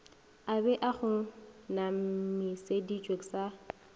a be a kgonamišeditšwe sa